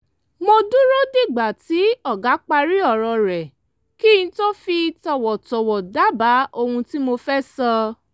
mo dúró dìgbà tí ọ̀gá parí ọ̀rọ̀ rẹ̀ kí n tó fi tọ̀wọ̀tọ̀wọ̀ dábàá ohun tí mo fẹ́ sọ